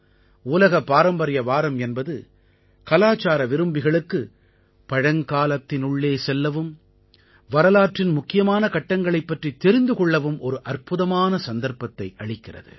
உலகப் பாரம்பரிய வாரம் என்பது கலாச்சார விரும்பிகளுக்கு பழங்காலத்தினுள்ளே செல்லவும் வரலாற்றின் முக்கியமான கட்டங்களைப் பற்றித் தெரிந்து கொள்ளவும் ஒரு அற்புதமான சந்தர்ப்பத்தை அளிக்கிறது